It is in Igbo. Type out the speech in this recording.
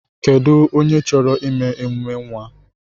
Kedụ onye chọrọ ime emume nwa?